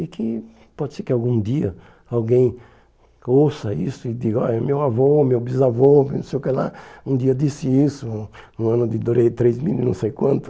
E que pode ser que algum dia alguém ouça isso e diga, ó, meu avô, meu bisavô, não sei o que lá, um dia disse isso, um ano de durei três mil e não sei quanto.